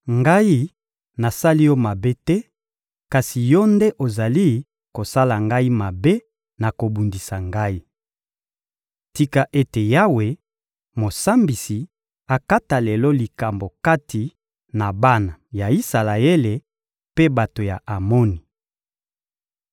Ngai nasali yo mabe te, kasi yo nde ozali kosala ngai mabe na kobundisa ngai. Tika ete Yawe, Mosambisi, akata lelo likambo kati na bana ya Isalaele mpe bato ya Amoni.»